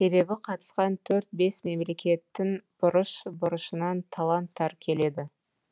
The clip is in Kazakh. себебі қатысқан төрт бес мемлекеттің бұрыш бұрышынан таланттар келеді